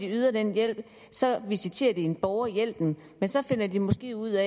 yder den hjælp visiterer de en borger til hjælpen men så finder de måske ud